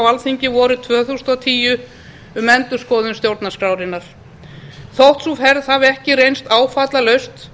alþingi vorið tvö þúsund og tíu um endurskoðun stjórnarskrárinnar þótt sú ferð hafi ekki reynst áfallalaus